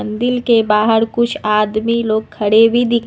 दिल के बाहर कुछ आदमी लोग खड़े भी दि--